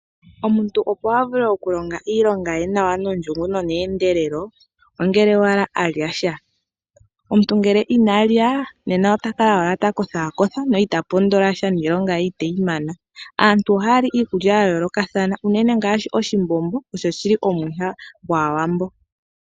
Omuntu opo avule okulonga iilonga ye nawa nondjungu no ne endelelo ongele owala alyasha . Omuntu ngelw inalya nena otakala owala ta kotha no ita pondolasha niilonga ye iteyimana. Aantu ohayali iikulya ya yoolokathana unene oshimbombo osho shili omwiha gwaawambo.